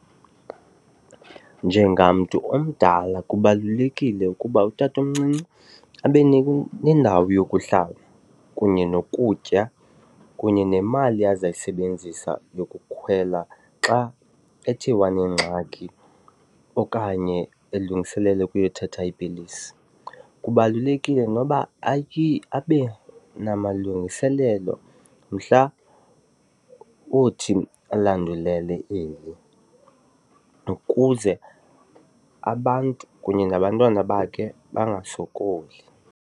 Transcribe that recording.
Njengamntu omdala kubalulekile ukuba utatomncinci abe nendawo yokuhlala kunye nokutya kunye nemali azayisebenzisa yokukhwela xa ethe wanengxaki okanye elungiselela ukuyothatha iipilisi. Kubalulekile noba abe namalungiselelo mhla othi alandulele eli ukuze abantu kunye nabantwana bakhe bangasokoli.